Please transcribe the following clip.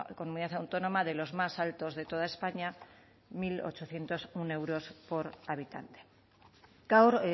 comunidad autónoma de los más altos de toda españa mil ochocientos uno euros por habitante gaur